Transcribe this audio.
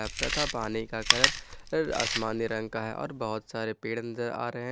तथा पानी का घर आसमानी रंग का है और बहुत सारे पेड़ नजर आ रहे हैं।